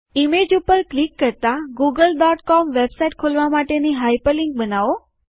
image ઉપર click કરતાં wwwgooglecom website ખોલવા માટેની હાઇપરલિન્ક બનાવો